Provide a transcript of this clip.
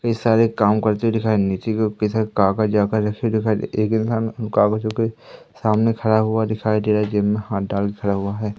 कई सारे काम करते हुए दिखाई नीचे के जैसे दिखाई एक इंसान कागजों के सामने खड़ा हुआ दिखाई दे रहा है जेब में हाथ डाल कर खड़ा हुआ है।